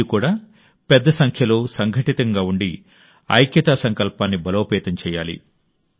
మీరు కూడా పెద్ద సంఖ్యలో సంఘటితంగా ఉండి ఐక్యతా సంకల్పాన్ని బలోపేతం చేయాలి